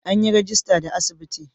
An yi rajista da asibiti?